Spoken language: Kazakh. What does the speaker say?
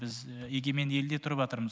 біз егеменді елде тұрыватырмыз